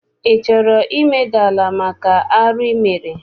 Ị chọrọ imeda ala maka arụ I mere?